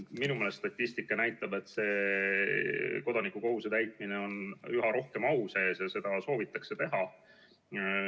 Minu meelest statistika näitab, et kodanikukohuse täitmine on üha rohkem au sees ja seda soovitakse teha.